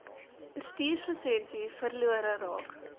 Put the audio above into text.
bestuurslisensie verlore raak